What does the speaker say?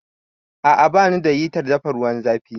A'a, ba nu da hitar dafa ruwan zafi